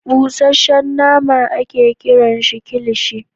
Busashen nama a ke kiran kikishi